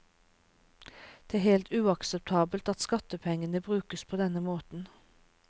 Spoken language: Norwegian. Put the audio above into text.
Det er helt uakseptabelt at skattepengene brukes på denne måten.